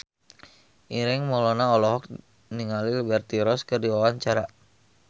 Ireng Maulana olohok ningali Liberty Ross keur diwawancara